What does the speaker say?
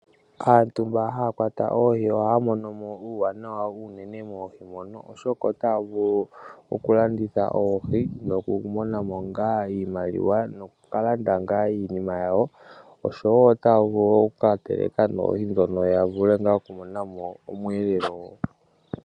Aantu mba haya kwata oohi ohaya monomo uuwanawa owundji moohi mono oshoka otaya vulu okulanditha oohi, nokumonamo iimaliwa oshwo otayavulu oku katelekamo yavule ngaa okumona omweelelo gwawo.